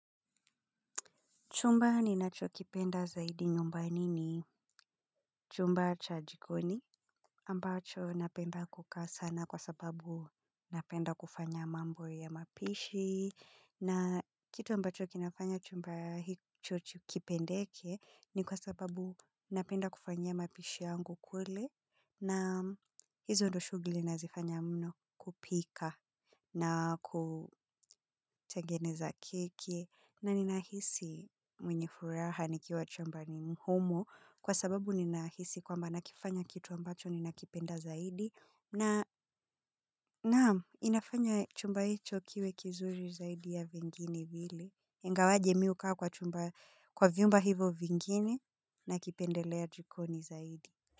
Chumba ni nacho kipenda zaidi nyumbani ni chumba cha jikoni ambacho napenda kuka sana kwa sababu napenda kufanya mambo ya mapishi. Na kitu ambacho kinafanya chumba hicho kipendeke ni kwa sababu napenda kufanya mapishi yangu kwele na hizo ndoshugili inazofanya mno kupika na kutageneza kiki. Na ninahisi mwenye furaha nikiwa chambani mhumo kwa sababu ninahisi kwamba nakifanya kitu ambacho ninakipenda zaidi na inafanya chumba hicho kiwe kizuri zaidi ya vingine vile ingawaje mi uka kwa chumba kwa viumba hivo vingine nakipendelea jikoni zaidi.